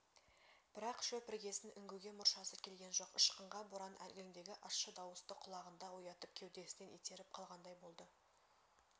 бірақ шөп іргесін үңгуге мұршасы келген жоқ ышқынған боран әлгіндегі ащы дауысты құлағында оятып кеудесінен итеріп қалғандай болды